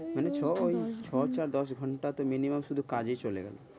ওই ছ ~ছ চার দশ ঘন্টা তো minimum শুধু কাজে চলে গেল,